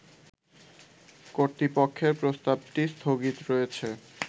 কর্তৃপক্ষের প্রস্তাবটি স্থগিত রয়েছে